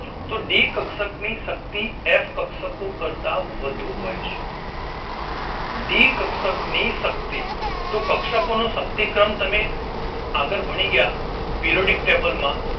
તો ડી કક્ષક ની શક્તિ એફ કક્ષકો કરતાં વધુ હોય છે ડી કક્ષક ની શક્તિ તો કક્ષકો ની શક્તિક્રમ તમે આગળ ભણી ગયા પીઓડિક ટેબલ માં